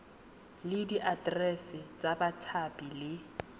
le diaterese tsa bathapi le